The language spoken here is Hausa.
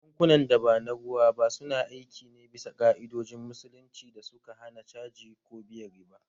Bankunan da ba na ruwa ba su na aiki ne bisa ka’idojin Musulunci da suka hana caji ko biyan riba